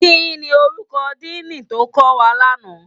Kini órúkò dìní tó má kòwá lòlá?